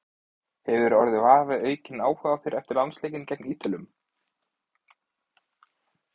Hefurðu orðið var við aukinn áhuga á þér eftir landsleikinn gegn Ítölum?